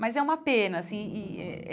Mas é uma pena assim e é.